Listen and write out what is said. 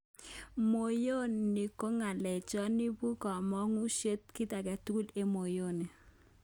Moyoni nga'lechon imuchkomukoksek kit agetugul ko moyoni